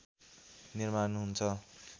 निर्माण हुन्छ